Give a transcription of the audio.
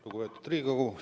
Lugupeetud Riigikogu!